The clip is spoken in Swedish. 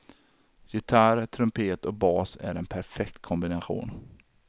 Gitarr, trumpet och bas är en perfekt kombination.